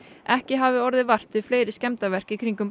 ekki hafi orðið vart við fleiri skemmdarverk í kringum